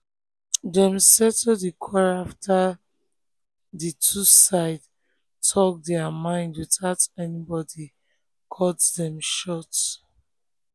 dem settle di quarrel after the two sides talk their mind without anybody cut dem short.